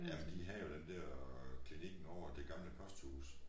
Jamen de havde jo den dér øh klinikken over det gamle posthus